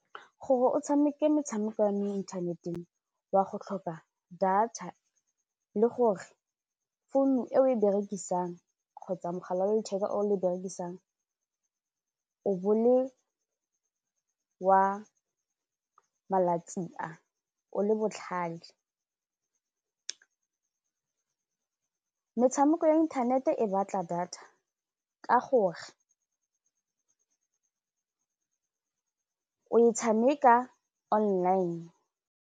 Gore o tshameke metshameko ya mo inthaneteng wa go tlhoka data le gore founu e o e berekisang kgotsa mogala wa letheka o o berekisang o bo le wa malatsi a, o le botlhal. Metshameko ya inthanete e batla data ka gore o e tshameka online.